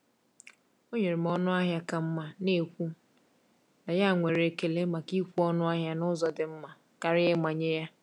Ọ nyere m ọnụ ahịa ka mma, na-ekwu na ya nwere ekele maka ịkwụ ọnụ ahịa n’ụzọ dị mma karịa ịmanye ya.